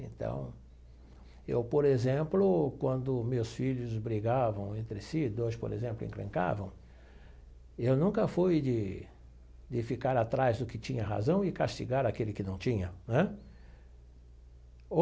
Então, eu, por exemplo, quando meus filhos brigavam entre si, dois, por exemplo, encrencavam, eu nunca fui de de ficar atrás do que tinha razão e castigar aquele que não tinha né?